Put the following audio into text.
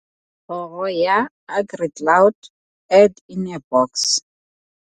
KGOROR YA AGRICLOUD Add in a box.